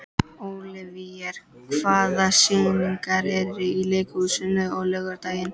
Ólíver, hvaða sýningar eru í leikhúsinu á laugardaginn?